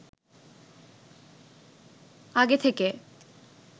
আগে থেকে